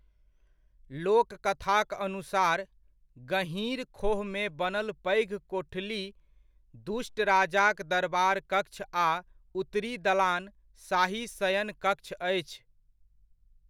लोककथाक अनुसार, गहीँर खोहमे बनल पैघ कोठली दुष्ट राजाक दरबारकक्ष आ उत्तरी दलान, शाही शयन कक्ष अछि।